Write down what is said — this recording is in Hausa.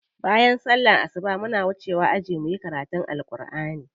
Bayan sallar asuba muna wucewa aji muyi karatun Alkur'ani.